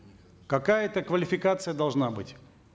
какая то квалификация должна быть